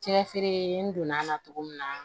Cɛfiri n donna a la cogo min na